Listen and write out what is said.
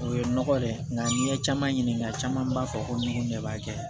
O ye nɔgɔ de ye nka n'i ye caman ɲininka caman b'a fɔ ko ne b'a kɛ